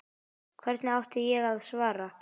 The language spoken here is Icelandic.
Hverju átti ég að svara.